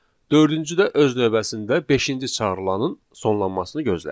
Dördüncü də öz növbəsində beşinci çağırılaının sonlanmasını gözləyir.